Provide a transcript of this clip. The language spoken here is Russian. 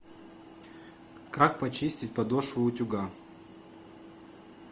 как почистить подошву утюга